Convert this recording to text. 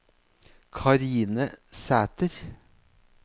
Karine Sæter